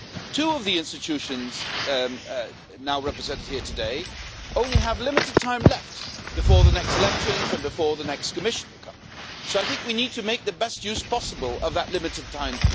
Two of the institutions now represented here today only have limited time left before the next elections and before the next Commission will come in. We need to make the best use possible of that limited time.